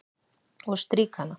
Og strýk hana.